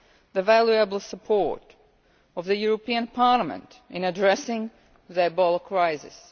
the valuable support of the European Parliament in addressing the Ebola crisis.